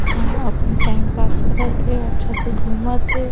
यहाँ अपने time pass करत हे अच्छा से घुमत है।